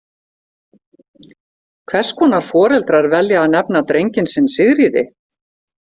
Hvers konar foreldrar velja að nefna drenginn sinn Sigríði!